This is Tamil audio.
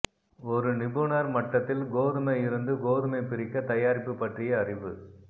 ஒரு நிபுணர் மட்டத்தில் கோதுமை இருந்து கோதுமை பிரிக்க தயாரிப்பு பற்றிய அறிவு